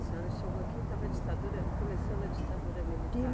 A senhora chegou aqui, estava a ditadura, começando a ditadura militar.